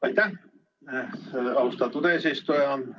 Aitäh, austatud eesistuja!